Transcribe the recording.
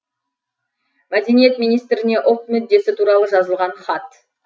мәдениет министріне ұлт мүддесі туралы жазылған хат